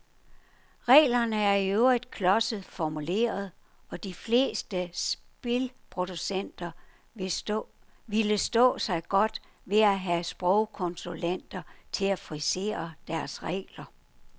Reglerne er i øvrigt klodset formuleret, og de fleste spilproducenter ville stå sig godt ved at have sprogkonsulenter til at frisere deres regler.